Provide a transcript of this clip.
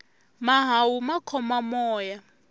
mahawu ma khoma moya